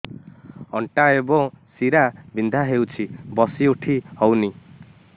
ଅଣ୍ଟା ଏବଂ ଶୀରା ବିନ୍ଧା ହେଉଛି ବସି ଉଠି ହଉନି